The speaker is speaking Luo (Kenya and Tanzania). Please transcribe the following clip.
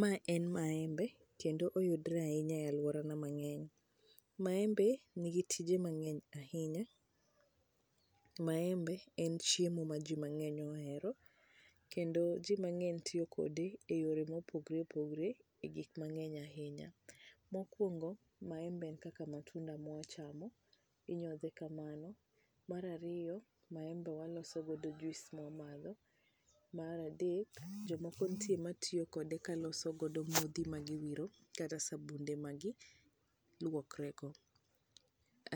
mae en maembe kendo oyudore ahinya e aluorana mang'eny, maembe ni gi tije mang'eny ahinya, maembe en chiemo ma ji mang'eny ohero kendo ji mang'eny tiyo kode e yore mopogore opogore e gik mang'eny ahinya. mokuongo maembe en kaka matunda mwa chamo ,inyodhe kamano mar ariyo maembe waloso go juice mwa madho mar adek ,jomoko nitie matiyo kode kaloso modhi ma giwiro kata sabunde magi luokre go